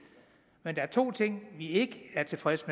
men der er to ting vi ikke er tilfredse